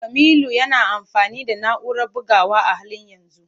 Kamilu yana amfani da na'urar bugawa a halin yanzu.